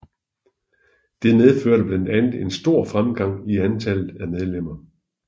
Det medførte blandt andet en stor fremgang i antallet af medlemmer